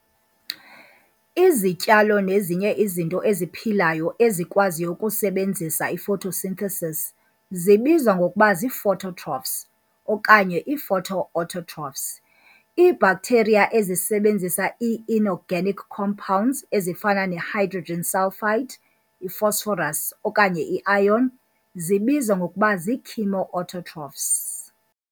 Izityalo nezinye izinto eziphilayo ezikwaziyo ukusebenzisa i-photosynthesis zibizwa ngokuba zii-phototrophs okanye ii-photoautotrophs. Ii-bacteria ezisebenzisa ii-inorganic compounds ezifana ne-hydrogen sulfide, i-phosphorus okanye i-iron zibizwa ngokuba zii-chemoautotrophs.